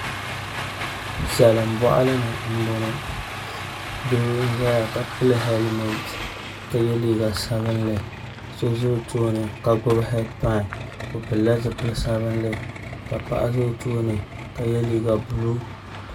Salin boɣali ni n boŋo doo n ʒɛya ka pili hɛlmɛnt ka yɛ liiga sabinli ka so ʒɛ o tooni ka gbuni heed pai o pilila zipili sabinli ka paɣa ʒɛ o tooni ka yɛ liiga buluu